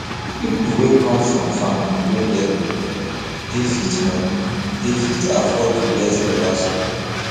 pipo wey come from family wey get money dey fit money dey fit afford to go better school